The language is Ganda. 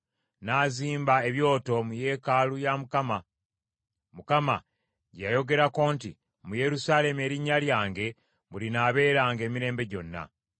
N’azimba ebyoto mu yeekaalu ya Mukama , Mukama gye yayogerako nti, “Mu Yerusaalemi erinnya lyange mwe linaabeeranga emirembe gyonna.”